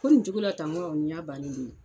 ko nin cogo la tan? Ŋo nin y'a bannen de ye.